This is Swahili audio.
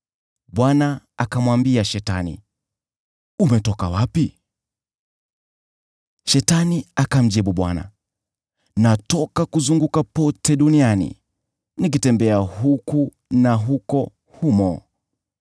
Bwana akamwambia Shetani, “Umetoka wapi?” Shetani akamjibu Bwana , “Natoka kuzunguka pote duniani, nikitembea huku na huko humo.”